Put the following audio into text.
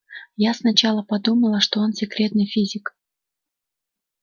я сначала подумала что он секретный физик